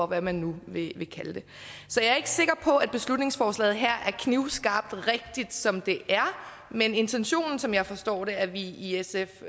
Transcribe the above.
hvad man nu vil kalde det så jeg er ikke sikker på at beslutningsforslaget her er knivskarpt rigtigt som det er men intentionen som jeg forstår den er vi i sf